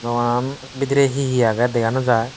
bidire he he age dega naw jai.